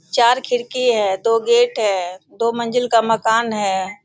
चार खिड़की है दो गेट है दो मंजिल का मकान है।